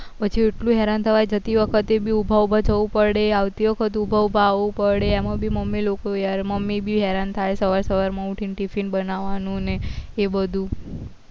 પછી એટલું હેરાન થવાય જતી વખત તે બી ઉભા ઉભા જવું પડે આવતી વખત ઉભા ઉભા એમાં બી મમી લોકો મમી અરે યાર મમી પણ હેરાન થાય સવાર સાવર માં ઉઠીન ટીફીન બનાવાનું અને એ બધું